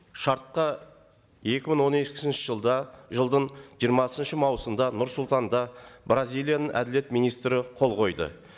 шартқа екі мың он екінші жылда жылдың жиырмасыншы маусымда нұр сұлтанда бразилияның әділет министрі қол қойды